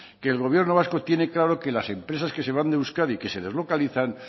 que el gobierno vasco tiene claro que las empresas que se van de euskadi que se deslocalizan